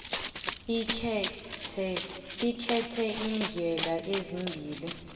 ukhethe iindlela ezimbili